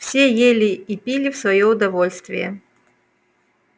все ели и пили в своё удовольствие